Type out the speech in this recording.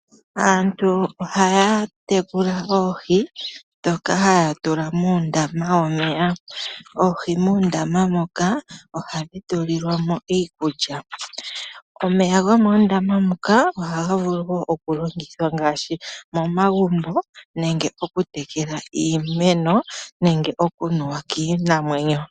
Aantu ohaya tekula oohi dhoka haya tula moondama dhomeya. Oohi muundama moka ohadhi tulilwamo iikulya. Omeya gomoondama moka ohaga vulu woo okulongithwa ngaashi momagumbo nenge okutekela iimeno nenge okunuwa kiinamwenyo.